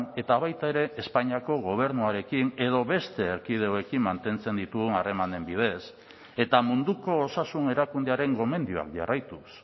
eta baita ere espainiako gobernuarekin edo beste erkidegoekin mantentzen ditugun harremanen bidez eta munduko osasun erakundearen gomendioan jarraituz